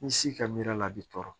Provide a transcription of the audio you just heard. Ni si ka miiri la a bɛ tɔɔrɔ